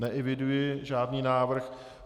Neeviduji žádný návrh.